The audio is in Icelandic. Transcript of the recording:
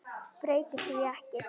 Breyti því ekki.